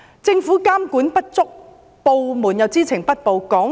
政府監管不足，部門又知情不報。